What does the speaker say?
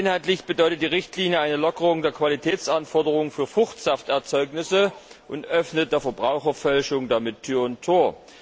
Inhaltlich bedeutet die Richtlinie eine Lockerung der Qualitätsanforderungen für Fruchtsafterzeugnisse und öffnet der Verbraucherfälschung damit Tür und Tor.